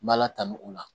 N m'ala tanu o la